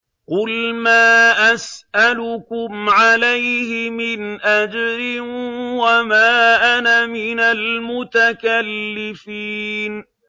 قُلْ مَا أَسْأَلُكُمْ عَلَيْهِ مِنْ أَجْرٍ وَمَا أَنَا مِنَ الْمُتَكَلِّفِينَ